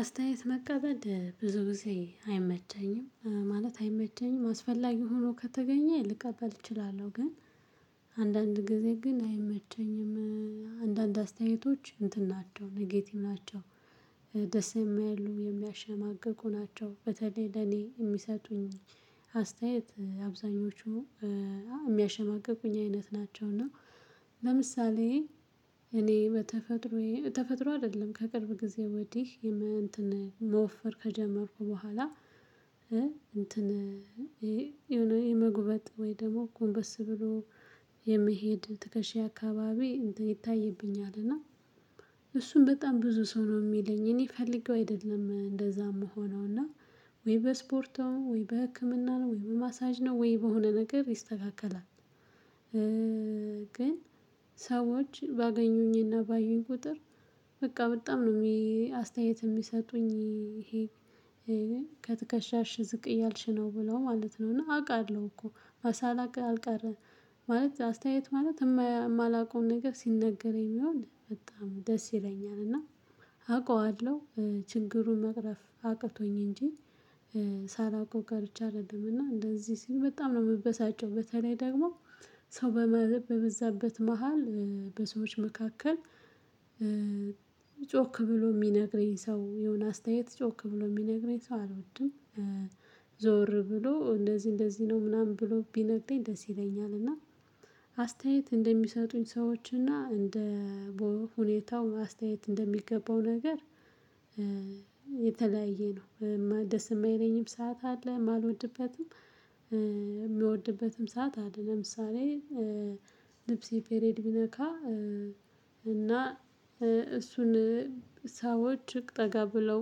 አስተያየት መቀበድ ብዙ ጊዜ አይመቸኝም ማለት አይመቸኝም አስፈላጊ ሆኖ ከተገኘ ልቀበል እችላለሁ ግን አንዳንድ ጊዜ ግን አይመቸኝም። አንዳንድ አስተያየቶች እንትን ናቸው ኔጌቲቭ ናቸው። ደስ የማይሉ የሚያሸማቅቁ ናቸው በተለይ ለኔ የሚሰጡኝ አስተያየት አብዛኞቹ የሚያሸማቅቁኝ አይነት ናቸው። እና ለምሳሌ እኔ በተፈጥሮዬ ተፈጥሮ አይደለም ከቅርብ ጊዜ ወዲህ የመንተን መወፈር ከጀመርኩ በኋላ። እንትን ይሄ የሆነ የመጉበጥ ወይ ደግሞ ጎንበስ ብሎ የሚሄድ ትከሻ አካባቢ ይታይብኛል። እና እሱን በጣም ብዙ ሰው ነው የሚለኝ እኔ ፈልጌው አይደለም እንደዛ ምሆነውና ወይ በስፖርቱ ወይ በህክምና ነው ወይ በማሳጅ ነው ወይ በሆነ ነገር ይስተካከላል። ግን ሰዎች ባገኙኝና ባዩኝ ቁጥር በቃ በጣም ነው። አስተያየት የሚሰጡኝ ይሄ ከትከሻሽ ዝቅ እያልሽ ነው ብለው ማለት ነው እና አውቃለሁ እኮ ሳላቅ አልቀረም። ማለት አስተያየት ማለት የማላውቀውን ነገር ሲነገረኝ የሚሆን በጣም ደስ ይለኛል። እና አውቀዋለሁ ችግሩን መቅረፍ አቅቶኝ እንጂ። ሳላውቀው ቀርቼ አይደለም እና እንደዚህ ሲሉ በጣም ነው የምበሳጨው በተለይ ደግሞ ሰው በበዛበት መሃል በሰዎች መካከል ጮክ ብሎ የሚነግረኝ ሰው የሆነ አስተያየት ጮክ ብሎ የሚነግረኝ ሰው አልወድም። ዞር ብሎ እንደዚህ እንደዚህ ነው ምናምን ብሎ ቢነግረኝ ደስ ይለኛል። እና አስተያየት እንደሚሰጡኝ ሰዎች እና እንደ ሁኔታው አስተያየት እንደሚገባው ነገር የተለያየ ነው። ደስ የማይለኝም ሰዓት አለ የማልወድበትም የሚወድበትም ሰዓት አለ። ለምሳሌ ልብሴ ፔሬድ ቢነካ እና እሱን ሰዎች እቅ ጠጋ ብለው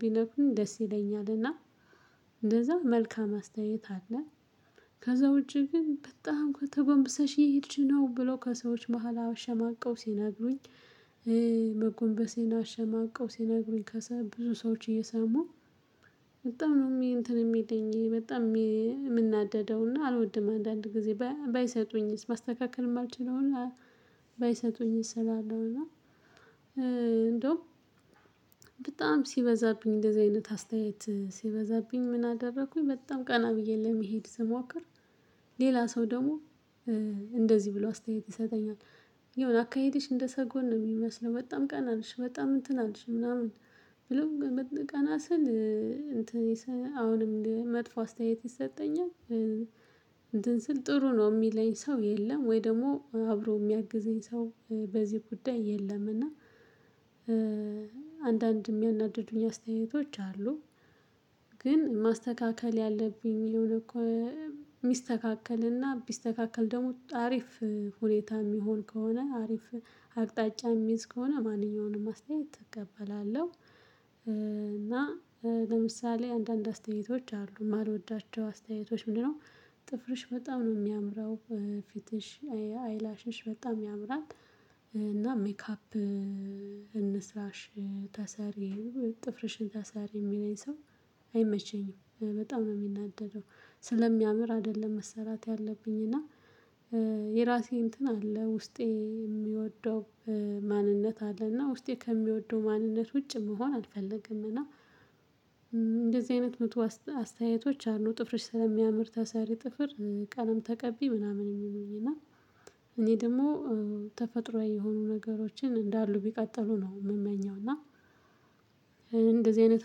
ቢነግሩኝ ደስ ይለኛልና እንደዛ መልካም አስተያየት አለ። ከዛ ውጪ ግን በጣም ከተጎንብሰሽ እሄድሽ ነው ብለው ከሰዎች መሃል አውሸማቀው ሲነግሩኝ። መጎንበሴን አሸማቀው ሲነግሩኝ ከዛ ብዙ ሰዎች እየሰሙ በጣም ነው እንትን እሚለኝ በጣም እምናደደው እና አልወድም። አንዳንድ ጊዜ ባይሰጡኝስ ማስተካከል እማልችለውን ባይሰጡኝስ እላለሁ። እና እንደውም በጣም ሲበዛብኝ እንደዚህ አይነት አስተያየት ሲበዛብኝ ምን አደረኩኝ በጣም ቀና ብዬ ለመሄድ ስሞክር። ሌላ ሰው ደሞ እንደዚህ ብሎ አስተያየት ይሰጠኛል። የሆነ አካሄድሽ እንደሰጎን ነው እሚመስለው በጣም ቀና አልሽ በጣም እንትን አልሽ ምናምን ብሎ ቀና ስል እንትን አሁንም መጥፎ አስተያየት ይሰጠኛል። እንትን ስል ጥሩ ነው እሚለኝ ሰው የለም። ወይ ደሞ አብሮ እሚያግዘኝ ሰው በዚህ ጉዳይ የለም። እና አንዳንድ እሚያናድዱኝ አስተያየቶች አሉ። ግን ማስተካከል ያለብኝ እኮ ሚስተካከል እና ቢስተካከል ደሞ አሪፍ ሁኔታ እሚሆን ከሆነ አሪፍ አቅጣጫ እሚይዝ ከሆነ ማንኛውንም አስተያየት እቀበላለሁ። እና ለምሳሌ አንዳንድ አስተያየቶች አሉ እማልወዳቸው አስተያየቶች ምንድነው? ጥፍርሽ በጣም ነው አሚያምረው ፊትሽ አይላሽሽ በጣም ያምራል። እና ሜካፕ እንስራሽ ተሰሪ ጥፍርሽን ተሰሪ እሚለኝ ሰው አይመቸኝም በጣም ነው እምናደደው። ስለሚያምር አደለም መሰራት ያለብኝ እና የራሴ እንትን አለ ውስጤ እሚወደው ማንነት አለና ውስጤ ከሚወደው ማንነት ውጭ መሆን አልፈለገም እና። እንደዚህ አይነት መቶ አስተያየቶች አሉ ጥፍርሽ ስለሚያምር ተሰሪ ጥፍር ቀለም ተቀቢ ምናምን እሚሉኝ እና እኔ ደሞ ተፈጥሮአዊ የሆኑ ነገሮችን እንዳሉ ቢቀጥሉ ነው እምመኘው እና እንደዚህ አይነት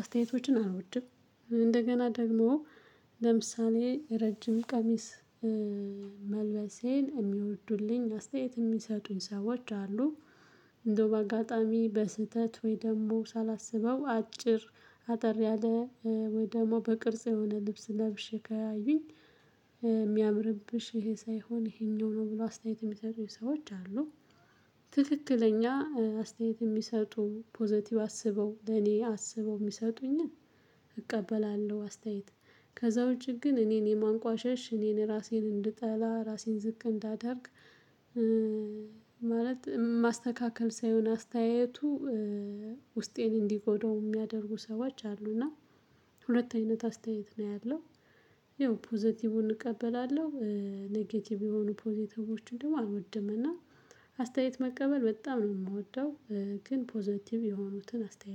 አስተያየቶችን አልወድም። እንደገና ደግሞ ለምሳሌ ረጅም ቀሚስ መልበሴን እሚወዱልኝ አስተያየት እሚሰጡኝ ሰዎች አሉ። እንደው በአጋጣሚ በስህተት ወይ ደሞ ሳላስበው አጭር አጠር ያለ ወይ ደሞ በቅርጽ የሆነ ልብስ ለብሼ ካያዩኝ እሚያምርብሽ ይሄ ሳይሆን ይሄኛው ነው ብሎ አስተያየት እሚሰጡኝ ሰዎች አሉ። ትክክለኛ አስተያየት እሚሰጡ ፖዘቲቭ አስበው ለኔ አስበው እሚሰጡኝን እቀበላለሁ። አስተያየት ከዛ ውጪ ግን እኔን የማንቋሸሽ እኔን ራሴን እንድጠላ ራሴን ዝቅ እንዳደርግ። ማለት ማስተካከል ሳይሆን አስተያየቱ ውስጤን እንዲጎዳው እሚያደርጉ ሰዎች አሉ። እና ሁለት አይነት አስተያየት ነው ያለው ያው ፖዘቲቩን እቀበላለሁ። ኔጌቲቪ የሆኑ ፖዘቲቮችን ደሞ አልወድም እና አስተያየት መቀበል በጣም ነው እምወደው። ግን ፖዘቲቭ የሆኑትን አስተያየት